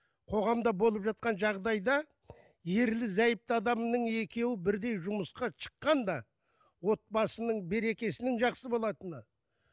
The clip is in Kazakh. қоғамда болып жатқан жағдайда ерлі зайыпты адамның екеуі бірдей жұмысқа шыққан да отбасының берекесінің жақсы болатыны